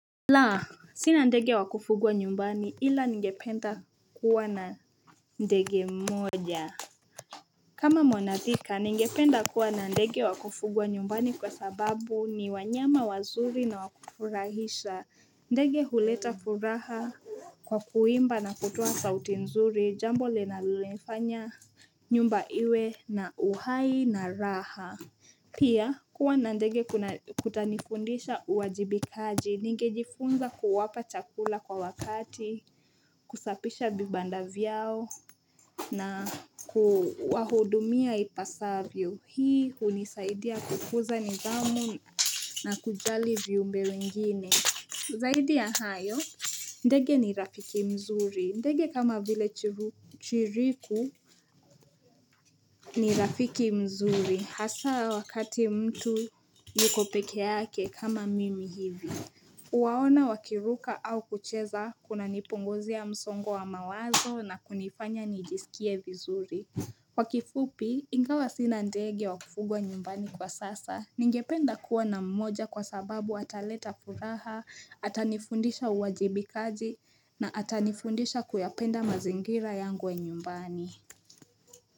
La, sina ndege wa kufugwa nyumbani ila ningependa kuwa na ndege mmoja. Kama monathika, ningependa kuwa na ndege wa kufugwa nyumbani kwa sababu ni wanyama wazuri na wa kufurahisha. Ndege huleta furaha kwa kuimba na kutoa sauti nzuri, jambo linalofanya nyumba iwe na uhai na raha. Pia, kuwa na ndege kutanifundisha uwajibikaji, ningejifunza kuwapa chakula kwa wakati, kusafisha vibanda vyao, na kuwahudumia ipasavyo. Hii hunisaidia kukuza nidhamu na kujali viumbe wengine. Zaidi ya hayo, ndege ni rafiki mzuri. Ndege kama vile chiriku ni rafiki mzuri. Hasa wakati mtu yuko peke yake kama mimi hivi Huwaona wakiruka au kucheza kunanipunguzia msongo wa mawazo na kunifanya nijisikie vizuri Kwa kifupi ingawa sina ndege wa kufugwa nyumbani kwa sasa Ningependa kuwa na mmoja kwa sababu ataleta furaha Atanifundisha uwajibikaji na atanifundisha kuyapenda mazingira yangu ya nyumbani.